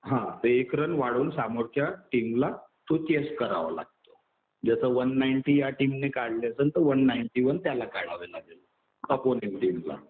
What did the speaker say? हा. तर एक रन वाढवून समोरच्या टीमला तो चेस करावा लागतो. जसं वन नाईंटी या टीमने काढले तर वन नाईंटी वन त्याला काढावे लागेल. ऑपोनन्ट टीमला.